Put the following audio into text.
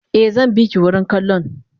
Eh zanbiki wurin kallon